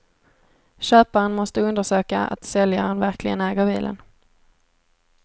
Köparen måste undersöka att säljaren verkligen äger bilen.